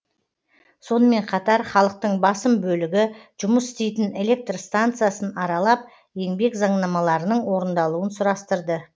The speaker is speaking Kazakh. сонымен қатар халықтың басым бөлігі жұмыс істейтін электр станциясын аралап еңбек заңнамаларының орындалуын сұрастырды